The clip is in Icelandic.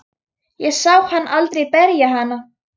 Ég sá hann aldrei berja hana.